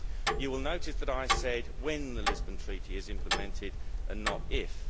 You will notice that I said when the Lisbon Treaty is implemented' and not if'.